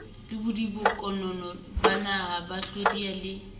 le bodiponkonono banaba hlodiyang le